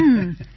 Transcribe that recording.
ஆமாம்